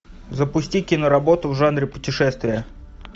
запусти киноработу в жанре путешествие